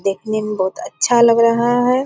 देखने में बहुत अच्छा लग रहा है।